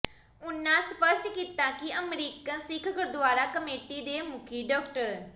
ਉਨ੍ਹਾਂ ਸਪੱਸ਼ਟ ਕੀਤਾ ਕਿ ਅਮਰੀਕਨ ਸਿੱਖ ਗੁਰਦੁਆਰਾ ਕਮੇਟੀ ਦੇ ਮੁਖੀ ਡਾ